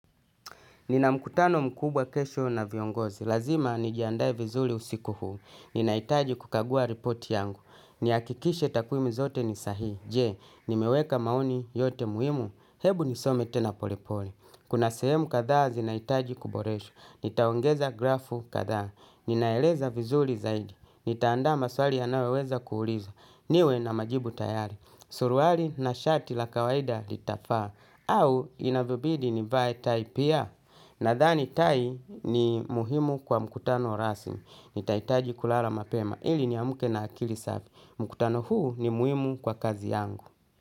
Nina mkutano mkubwa kesho na viongozi. Lazima nijiandae vizuri usiku huu. Ninahitaji kukagua ripoti yangu. Nihakikishe takwimu zote ni sahihi. Je, nimeweka maoni yote muhimu. Hebu nisome tena polepole. Kuna sehemu kadhaa zinahitaji kuboreshwa. Nitaongeza grafu kadhaa. Ninaeleza vizuri zaidi. Nitaandaa maswali yanayoweza kuulizwa. Niwe na majibu tayari. Suruari na shati la kawaida litafaa. Au inavyobidi nivae tai pia. Nadhani tai ni muhimu kwa mkutano rasmi, nitahitaji kulala mapema, ili niamke na akili safi, mkutano huu ni muhimu kwa kazi yangu.